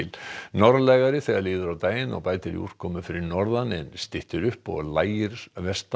norðlægari þegar líður á daginn og bætir í úrkomu fyrir norðan en styttir upp og lægir